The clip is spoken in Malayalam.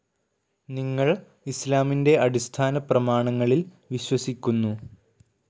നിങ്ങൾ ഇസ്‌ലാമിന്റെ അടിസ്ഥാനപ്രമാണങ്ങളിൽ വിശ്വസിക്കുന്നു.